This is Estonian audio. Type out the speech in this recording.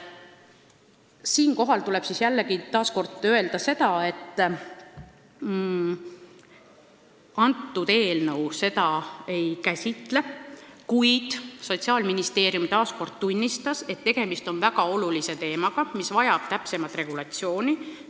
Siinkohal tuleb jällegi öelda, et kõnealune eelnõu neid teemasid ei käsitle, kuid Sotsiaalministeerium tunnistas, et tegemist on väga olulise teemaga, mis vajab täpsemat regulatsiooni.